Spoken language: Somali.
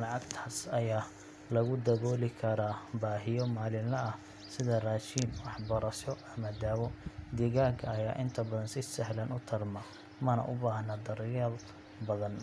Lacagtaas ayaa lagu dabooli karaa baahiyo maalinle ah sida raashin, waxbarasho, ama daawo. Digaagga ayaa inta badan si sahlan u tarma, mana u baahna daryeel badan